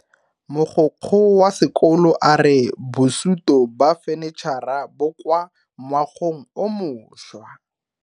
Mogokgo wa sekolo a re bosuto ba fanitšhara bo kwa moagong o mošwa.